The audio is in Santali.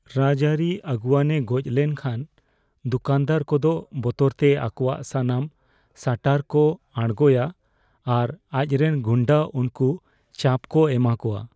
ᱨᱟᱡᱟᱹᱨᱤ ᱟᱹᱜᱩᱣᱟᱹᱱ ᱮ ᱜᱚᱡ ᱞᱮᱱ ᱠᱷᱟᱱ ᱫᱚᱠᱟᱱᱫᱟᱨ ᱠᱚᱫᱚ ᱵᱚᱛᱚᱨ ᱛᱮ ᱟᱠᱚᱣᱟᱜ ᱥᱟᱱᱟᱢ ᱥᱟᱴᱟᱨ ᱠᱚ ᱟᱲᱜᱳᱭᱟ ᱟᱨ ᱟᱡᱨᱮᱱ ᱜᱩᱱᱰᱟᱹ ᱩᱱᱠᱩ ᱪᱟᱯ ᱠᱚ ᱮᱢᱟ ᱠᱚᱣᱟ ᱾